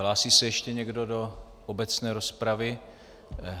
Hlásí se ještě někdo do obecné rozpravy?